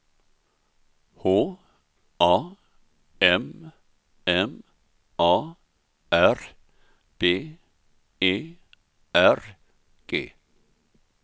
H A M M A R B E R G